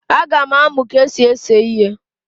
Aga m amụ ka esi ese ihe